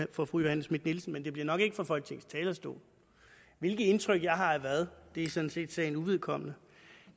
for fru johanne schmidt nielsen men det bliver nok ikke fra folketingets talerstol hvilket indtryk jeg har af hvad er sådan set sagen uvedkommende